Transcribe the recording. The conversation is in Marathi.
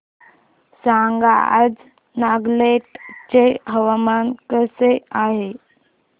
सांगा आज नागालँड चे हवामान कसे आहे